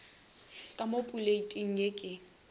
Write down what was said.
ka mo poleiting ye ke